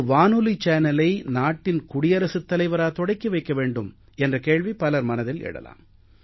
ஒரு வானொலி சேனலை நாட்டின் குடியரசுத் தலைவரா தொடக்கி வைக்க வேண்டும் என்ற கேள்வி பலர் மனதில் எழலாம்